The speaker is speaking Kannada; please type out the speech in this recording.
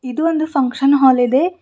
ಇದು ಒಂದು ಫಂಕ್ಷನ್ ಹಾಲ್ ಇದೆ.